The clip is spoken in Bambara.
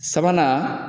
Sabanan